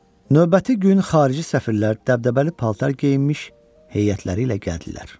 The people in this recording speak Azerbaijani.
Növbəti gün xarici səfirlər dəbdəbəli paltar geyinmiş heyətləri ilə gəldilər.